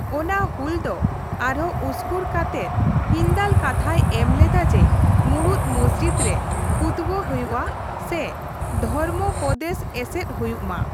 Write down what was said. ᱚᱱᱟ ᱦᱩᱞ ᱫᱚ ᱟᱨᱦᱚᱸ ᱩᱥᱠᱩᱨ ᱠᱟᱛᱮᱫ ᱦᱤᱱᱫᱟᱞ ᱠᱟᱛᱷᱟᱭ ᱮᱢ ᱞᱮᱫᱟ ᱡᱮ, ᱢᱩᱲᱩᱫ ᱢᱚᱥᱡᱤᱫ ᱨᱮ ᱠᱷᱩᱛᱵᱟ ᱦᱩᱭᱩᱜᱼᱟ ᱥᱮ ᱫᱷᱚᱨᱢᱚᱯᱚᱫᱮᱥ ᱮᱥᱮᱫ ᱦᱩᱭᱩᱜ ᱢᱟ ᱾